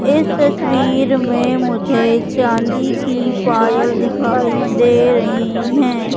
इस तस्वीर मुझे चांदी की पायल दिखाई दे रही हैं।